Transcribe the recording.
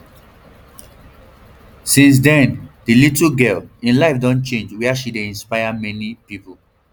since den di little girl im life don change wia she dey inspire um many pipo um